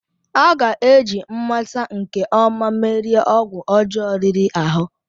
A ga-eji mmata nke ọma merie ọgwụ ọjọọ riri ahụ.